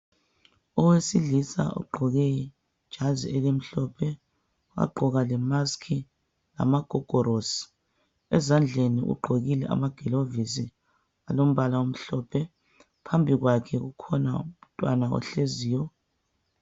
Owesilisa ogqoke ijazi elimhlophe wagqoka lemaski, amagogorosi ezandleni ugqokile amaglovisi alombala omhlophe. Phambi kwakhe ukhona umntwana ohleziyo.